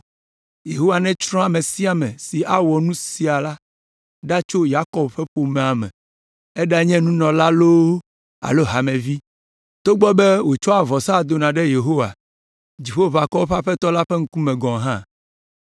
Yehowa netsrɔ̃ ame sia ame si awɔ nu sia la ɖa tso Yakob ƒe ƒomea me, eɖanye nunɔla loo alo hamevi, togbɔ be wòtsɔa vɔsa dona ɖe Yehowa, Dziƒoʋakɔwo ƒe Aƒetɔ la ƒe ŋkume gɔ̃ hã.